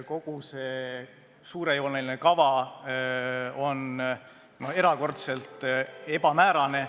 Kogu see suurejooneline kava on erakordselt ebamäärane ...